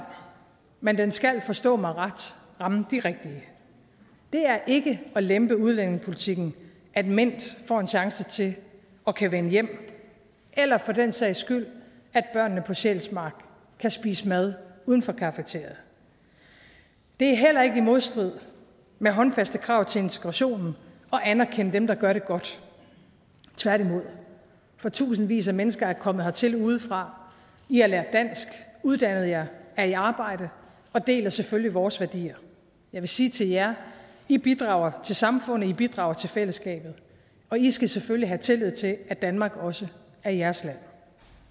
men den skal forstå mig ret ramme de rigtige det er ikke at lempe udlændingepolitikken at mint får en chance til og kan vende hjem eller for den sags skyld at børnene på sjælsmark kan spise mad uden for cafeteriet det er heller ikke i modstrid med håndfaste krav til integrationen at anerkende dem der gør det godt tværtimod for tusindvis af mennesker er kommet hertil udefra i har lært dansk uddannet jer er i arbejde og deler selvfølgelig vores værdier jeg vil sige til jer i bidrager til samfundet i bidrager til fællesskabet og i skal selvfølgelig have tillid til at danmark også er jeres land